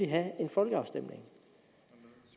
have en folkeafstemning